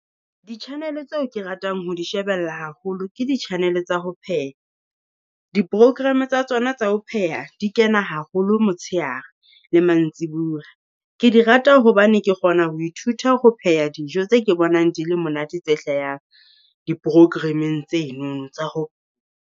Di-channel tseo ke ratang ho di shebella haholo ke di channel tsa ho pheha. Di- program tsa tsona tsa ho pheha di kena haholo motshehare le mantsibuya. Ke di rata hobane ke kgona ho ithuta ho pheha dijo tse ke bonang di le monate tse hlahang, di-programeng tseno tsa ho .